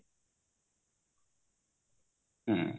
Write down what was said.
ହୁଁ